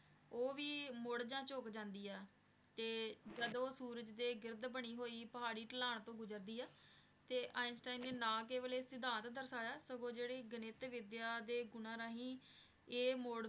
ਉਹ ਵੀ ਮੁੜ ਜਾਂ ਝੁਕ ਜਾਂਦੀ ਹੈ, ਤੇ ਜਦੋਂ ਉਹ ਸੂਰਜ ਦੇ ਗਿਰਦ ਬਣੀ ਹੋਈ ਪਹਾੜੀ ਢਲਾਣ ਤੋਂ ਗੁਜ਼ਰਦੀ ਹੈ, ਤੇ ਆਈਨਸਟੀਨ ਨੇ ਨਾ ਕੇਵਲ ਇਹ ਸਿਧਾਂਤ ਦਰਸਾਇਆ, ਸਗੋਂ ਜਿਹੜੀ ਗਣਿਤ ਵਿੱਦਿਆ ਦੇ ਗੁਣਾਂ ਰਾਹੀਂ ਇਹ ਮੋਡ